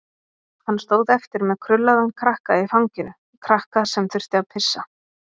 Hann stóð eftir með krullaðan krakka í fanginu, krakka sem þurfti að pissa.